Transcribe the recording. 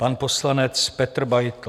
Pan poslanec Petr Beitl.